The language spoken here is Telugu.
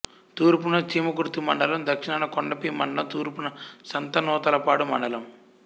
తూర్పున చీమకుర్తి మండలం దక్షణాన కొండపి మండలం తూర్పున సంతనూతలపాడు మండలం